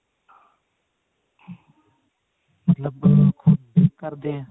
ਮਤਲਬ ਖੁਦ bake ਕਰਦੇ ਨੇ